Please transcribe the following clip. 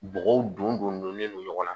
Bɔgɔw don don donnen don ɲɔgɔn na